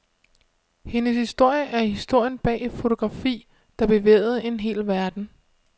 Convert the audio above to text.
Hendes historie er historien bag et fotografi, der bevægede en hel verden.